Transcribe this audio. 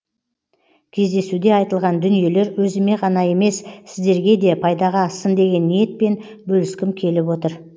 кездесуде айтылған дүниелер өзіме ғана емес сіздергеде пайдаға ассын деген ниетпен бөліскім келіп отыр